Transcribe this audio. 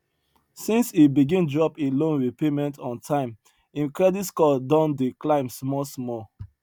since he begin drop him loan repayment on time him credit score don dey climb small small